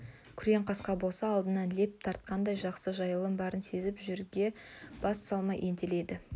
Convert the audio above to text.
күрең қасқа болса алдынан леп тартқандай жақсы жайылым барын сезіп жерге бас салмай ентелейді